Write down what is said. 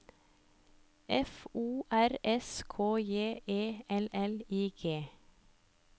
F O R S K J E L L I G